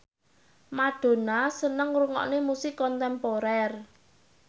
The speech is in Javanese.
Madonna seneng ngrungokne musik kontemporer